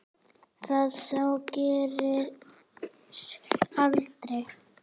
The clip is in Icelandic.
Það sár greri aldrei.